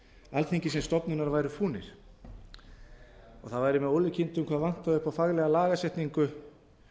alþingis sem stofnunar væru fúnir og það væri með ólíkindum hvað vantaði upp á faglega lagasetningu